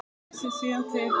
Dreif sig síðan til